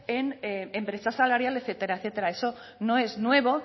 en brechas salariales etcétera etcétera eso no es nuevo